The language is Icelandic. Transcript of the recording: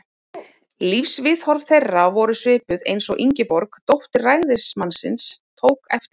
Lífsviðhorf þeirra voru svipuð, eins og Ingeborg, dóttir ræðismannsins, tók eftir.